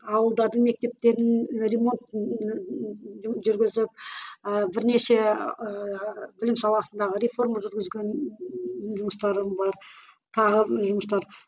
ауылдардың мектептерін ремонт жүргізіп ыыы бірнеше ііі білім саласындағы реформа жүргізген ііі жұмыстарым бар тағы жұмыстар